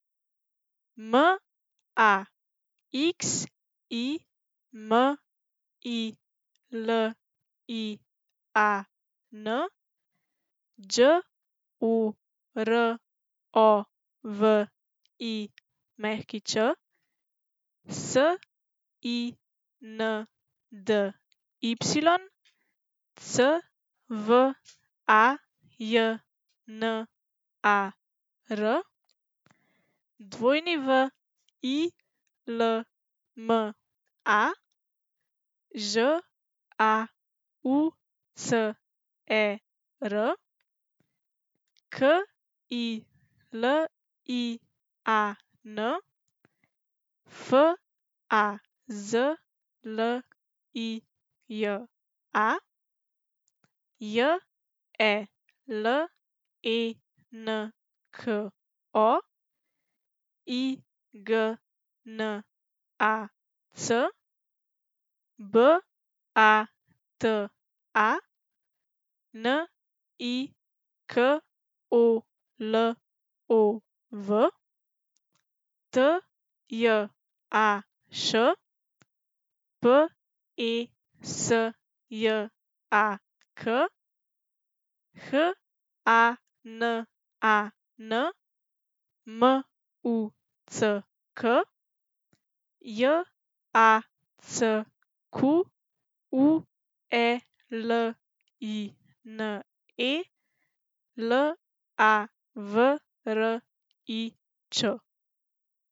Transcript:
M A X I M I L I A N, Đ O R O V I Ć; S I N D Y, C V A J N A R; W I L M A, Ž A U C E R; K I L I A N, F A Z L I J A; J E L E N K O, I G N A C; B A T A, N I K O L O V; T J A Š, P E S J A K; H A N A N, M U C K; J A C Q U E L I N E, L A V R I Č.